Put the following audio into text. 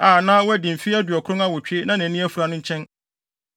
a na wadi mfe aduɔkron awotwe na nʼani afura no nkyɛn.